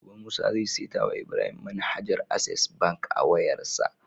Gobe musa zai seta wa Ibrahim manhajar access bank a wayar sa